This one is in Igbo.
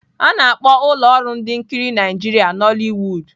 A na-akpọ ụlọ ọrụ ihe nkiri Nigeria Nollywood.